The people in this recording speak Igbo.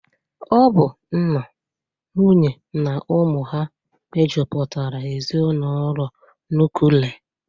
Ọ bụ nna, nwunye na ụmụ ha mejụpụtara ezinụlọ nukle.